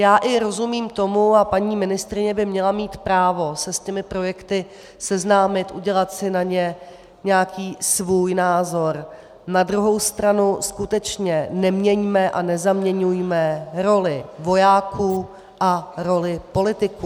Já i rozumím tomu, a paní ministryně by měla mít právo se s těmi projekty seznámit, udělat si na ně nějaký svůj názor, na druhou stranu skutečně neměňme a nezaměňujme roli vojáků a roli politiků.